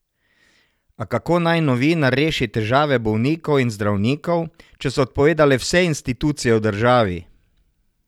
A kako naj novinar reši težave bolnikov in zdravnikov, če so odpovedale vse institucije v državi?